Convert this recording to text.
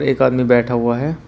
एक आदमी बैठा हुआ है।